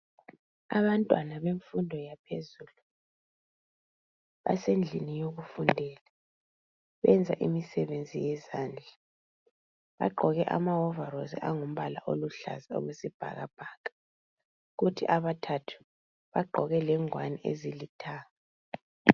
Abantwa bemfundo yaphezulu basendlini yokufundela benza imisebenzi yezandla. Baqoke ama wovorosi angumbala oluhlaza okwesibhakabhaka kuthi abathathu baqoke lengwani ezilithanga.